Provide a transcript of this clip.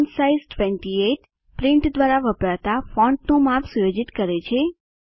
font size 28 print દ્વારા વપરાતા ફોન્ટનું માપ સુયોજિત કરે છે